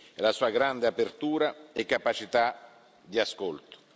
e la sua grande apertura e capacità di ascolto.